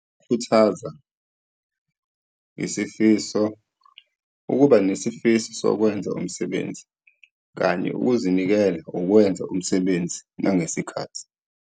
Ukukhuthaza, isifiso, ukuba nesifiso sokwenza umsebenzi, kanye ukuzinikela, ukwenza umsebenzi nangesikhathi.